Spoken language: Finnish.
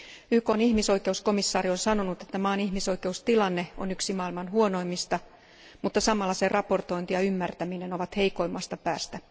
YKn ihmisoikeuskomissaari on sanonut, että maan ihmisoikeustilanne on yksi maailman huonoimmista mutta samalla sen raportointi ja ymmärtäminen ovat heikoimmasta päästä.